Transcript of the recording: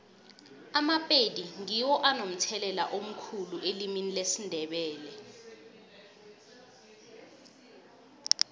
amapedi ngiwo anomthelela omkhulu elimini lesindebele